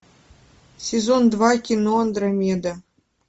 сезон два кино андромеда